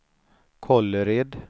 Kållered